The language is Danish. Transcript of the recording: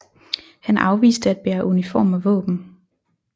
Han afviste at bære uniform og våben